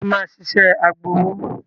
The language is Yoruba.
Ṣé o máa ṣiṣẹ́ agbowó?